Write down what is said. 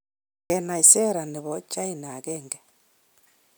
Kenai sera ne bo China agenge.